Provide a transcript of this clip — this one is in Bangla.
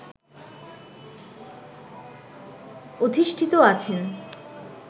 অধিষ্ঠিত আছেন